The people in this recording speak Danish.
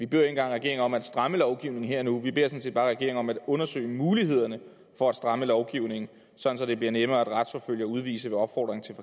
beder regeringen om at stramme lovgivningen her og nu vi beder sådan set bare regeringen om at undersøge mulighederne for at stramme lovgivningen sådan at det bliver nemmere at retsforfølge og udvise med opfordring